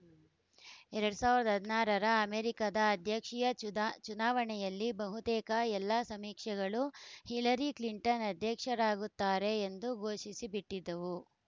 ಎರಡ್ ಸಾವಿರದ ಹದಿನಾರರ ಅಮೆರಿಕದ ಅಧ್ಯಕ್ಷೀಯ ಚುನಾವಣೆಯಲ್ಲಿ ಬಹುತೇಕ ಎಲ್ಲಾ ಸಮೀಕ್ಷೆಗಳೂ ಹಿಲರಿ ಕ್ಲಿಂಟನ್‌ ಅಧ್ಯಕ್ಷರಾಗುತ್ತಾರೆ ಎಂದು ಘೋಷಿಸಿಬಿಟ್ಟಿದ್ದವು